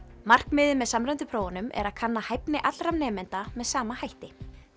markmiðið með samræmdum prófum er að kanna hæfni allra nemenda með sama hætti